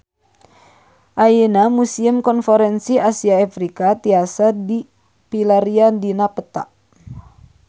Ayeuna Museum Konferensi Asia Afrika tiasa dipilarian dina peta